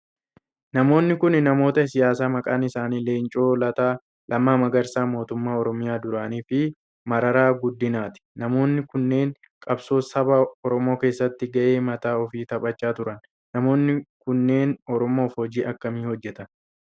Namoonni kun namoota siyaasaa maqaan isaanii Leencoo Lataa, Lammaa Magarsaa mootummaa oromiyaa duranii fi Mararaa Guddinaati. Namoonni kunneen qabsoo saba oromoo keessatti gahee mataa ofii taphachaa turan. Namoonni kunneen oromoof hoji akkamii hojjetan?